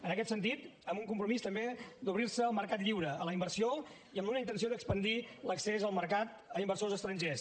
en aquest sentit amb un compromís també d’obrir se al mercat lliure a la inversió i amb una intenció d’expandir l’accés al mercat a inversors estrangers